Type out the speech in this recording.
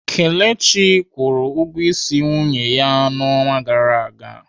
Kelechi kwụrụ ụgwọ ịsị nwunye ya n'ọnwa gara aga.